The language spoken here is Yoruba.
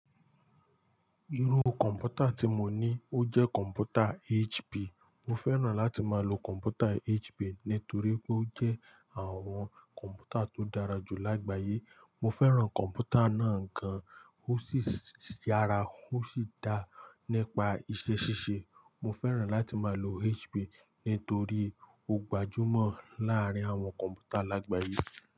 Irú kọ̀ǹpútà tí mo ní ó jẹ́ kọ̀ǹpútà HP. Mo fẹ́ràn láti máa lo kọ̀ǹpútà HP nítorí pé ó jẹ́ àwọn kọ̀ǹpútà tó dára jù lágbàyé. Mo fẹ́ràn kọ̀ǹpútà náà gan-an, ó sì yára, ó sì dá nípa iṣẹ́ ṣíṣe. Mo fẹ́ràn láti máa lo HP nítorí ó gbajúmọ̀ láàárín àwọn kọ̀ǹpútà lágbàyé.